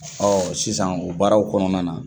sisan o baaraw kɔnɔna na